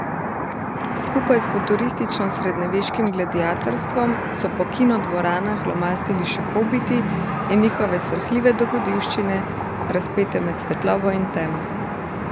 Skupaj s futuristično srednjeveškim gladiatorstvom so po kinodvoranah lomastili še hobiti in njihove srhljive dogodivščine, razpete med svetlobo in temo.